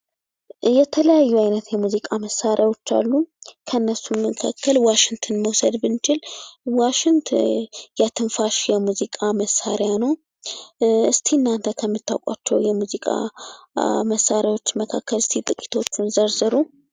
የተለያዩ አይነት የሙዚቃ መሳሪያዎች አሉ። ከእነሱም መካከል ዋሽንትን መዉሰድ ብንችል ዋሽንት የትንፋሽ የሙዚቃ መሳሪያ ነዉ። እስኪ እናተ ከምታዉቋቸዉ የሙዚቃ መሳሪያዎች መካከል እስኪ ጥቂቶችን ዘርዝሩ?